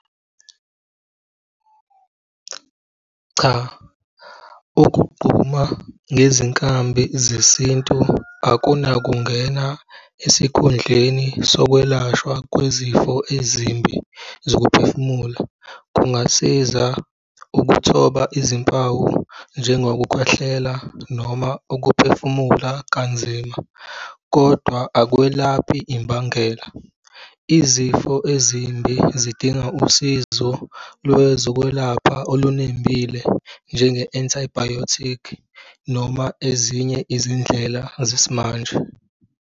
Cha, ukugquma ngezinkambi zesintu akunakungena esikhundleni sokwelashwa kwezifo ezimbi zokuphefumula. Kungasiza ukuthoba izimpawu, njengokukhwehlela noma ukuphefumula kanzima kodwa akwelaphi imbangela. Izifo ezimbi zidinga usizo lwezokwelapha olunembile, njenge-antibiotic noma ezinye izindlela zesimanje.